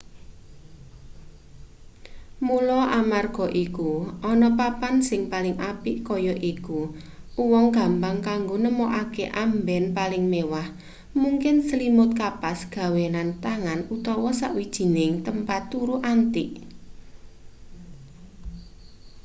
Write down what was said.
mula amarga iku ana papan sing paling apik kaya iku uwong gampang kanggo nemokake amben paling mewah mungkin slimut kapas gawenan tangan utawa sawijining tempat turu antik